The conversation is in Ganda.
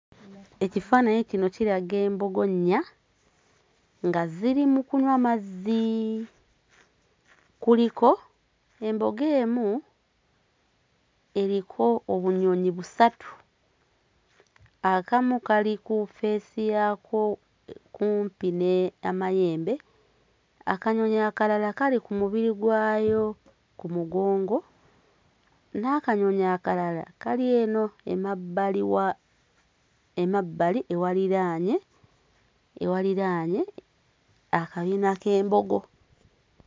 Ekifaananyi kino kiraga embogo nnya nga ziri mu kunywa mazzi, kuliko embogo emu eriko obunyonyi busatu akamu kali ku ffeesi yaakwo kumpi n'amayembe, akanyonyi akalala kali ku mubiri gwawo ku mugongo n'akanyonyi akalala kali eno emabbali wa emabbali ewaliraanye ewaliraanye akabina k'embogo.